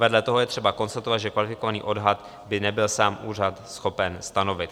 Vedle toho je třeba konstatovat, že kvalifikovaný odhad by nebyl sám úřad schopen stanovit.